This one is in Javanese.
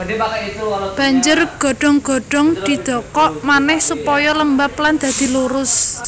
Banjur godhong godhong didokok manèh supaya lembab lan dadi lurus